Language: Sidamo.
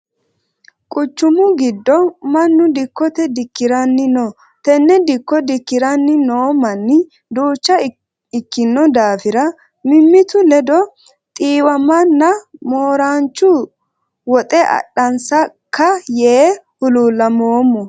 Quchumu gido mannu dikote dikiranni no. Tenne dikko dikiranni noo manni duucha ikino daafira mimitu ledo xiiwamanna mooranchu wuxe adhansaka yee hululamoommo.